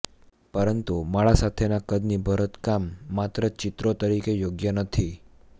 પરંતુ માળા સાથેના કદની ભરતકામ માત્ર ચિત્રો તરીકે યોગ્ય નથી